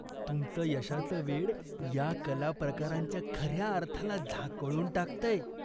तुमचं यशाचं वेड या कला प्रकारांच्या खऱ्या अर्थाला झाकोळून टाकतंय.